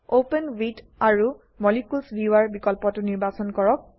open with আৰু molecules viewer বিকল্পটো নিৰ্বাচন কৰক